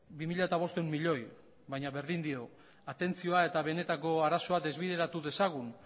bi mila bostehun milioi baina berdin dio atentzioa eta benetako arazoa desbideratu dezagun